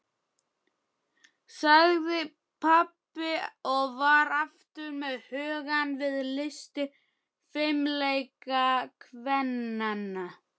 sagði pabbi og var aftur með hugann við listir fimleikakvennanna.